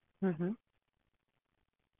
lift side ਵਿੱਚ option ਵਿੱਚ ਆਊਂਗਾ